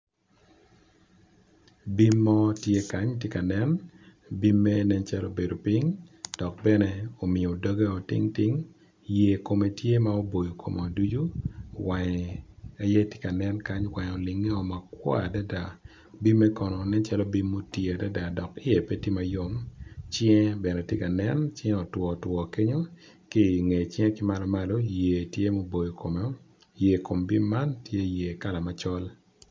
Bim mo tye kany tye ka nen bim mere nen calo obedo ping dok bene omiyo doge o tingting yer kome tye ma oboyo kome ducu wange aye tye ka nen wange olinge o makwar adada bimme kono nen calo bim ma oti adada dok i ye pe tye mayom cinge bene tye ka nen cinge otwo two kenyo kinge cinge ki malo malo yer tye ma oboyo kome yer bim man tye yer kala macol.